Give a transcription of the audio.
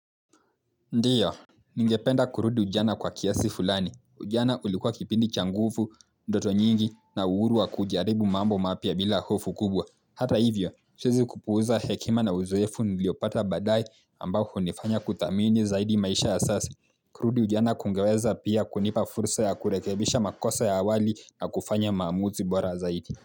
Ndiyo, ningependa kurudi ujana kwa kiasi fulani. Ujana ulikuwa kipindi cha nguvu, ndoto nyingi na uhuru wa kujaribu mambo mapya bila hofu kubwa. Hata hivyo, siwezi kupuuza hekima na uzoefu niliopata baadaye ambao hunifanya kuthamini zaidi maisha ya sasa kurudi ujana kungeweza pia kunipa fursa ya kurekebisha makosa ya awali na kufanya maamuzi bora zaidi.